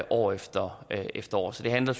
år efter efter år det handler